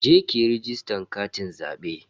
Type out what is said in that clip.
Je ki yi rajistan katin zabe.